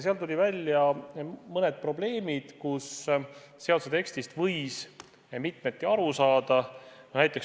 Tulid välja mõned probleemid, näiteks sellised kohad, kus seaduse tekstist võis mitmeti aru saada.